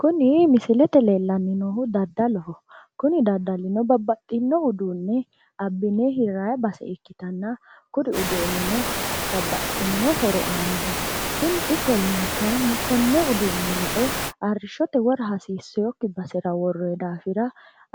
Kuni misilete leellanni noohu daddaloho. Kuni daddalino babbaxxino uduunne abbine hirrayi base ikkitanna, kuri uduunnino babbaxxinno horo aannoho. Kuri ikkollana kayinni konne uduunne lae arrishshote wora hasiiseyookki basera worroye daafira